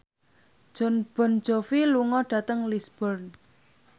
Jon Bon Jovi lunga dhateng Lisburn